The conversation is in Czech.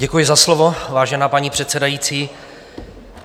Děkuji za slovo, vážená paní předsedající.